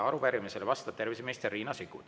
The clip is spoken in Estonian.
Arupärimisele vastab terviseminister Riina Sikkut.